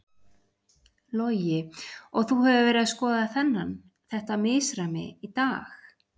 Logi: Og þú hefur verið að skoða þennan, þetta misræmi í dag?